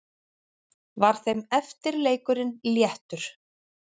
Var þeim eftirleikurinn léttur.